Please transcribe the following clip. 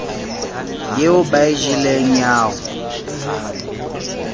eo ba e jeleng ao